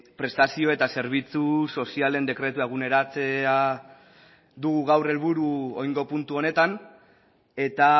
prestazio eta zerbitzu sozialen dekretua eguneratzea du gaur helburu oraingo puntu honetan eta